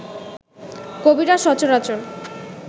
কবিরা সচরাচর